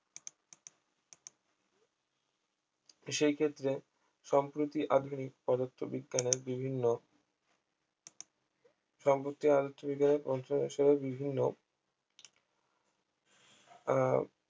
সেই ক্ষেত্রে সম্প্রতি আধুনিক পদার্থবিজ্ঞানের বিভিন্ন সম্প্রতি আলোচ্য বিজ্ঞানের প্রশ্নানুসারে বিভিন্ন আহ